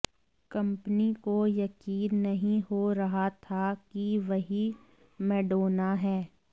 company को यकीन नहीं हो रहा था कि वही मैडोना हैं